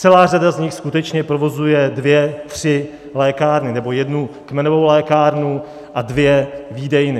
Celá řada z nich skutečně provozuje dvě tři lékárny nebo jednu kmenovou lékárnu a dvě výdejny.